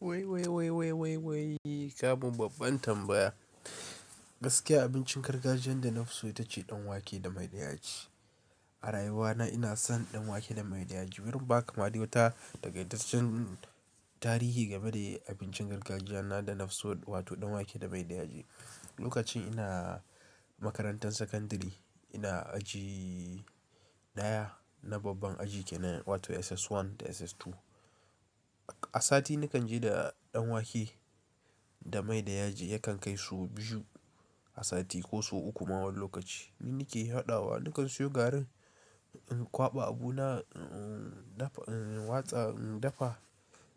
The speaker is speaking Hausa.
Wai, wai, wai, wai, wai, wai, ka mun babban tambaya. Gaskiya abincin gargajiyan da na fi so ita ce danwake da mai da yaji. A rayuwa na ina son danwake da mai da yaji. Barin in ba ka ma dai wata takaitaccen tarihin game da abincin gargajiya na da na fi so wato danwake da mai da yaji. Lokacin ina makarantan sakandare ina aji daya na babban aji kenan wato SS1 da SS2. A sati nakan je da danwake da mai da yaji yakan kai so biyu a sati ko so uku ma wani lokaci. Ni nake haɗawa, nakan siyo garin in kwaɓa abu na, in dafa, in watsa, in dafa,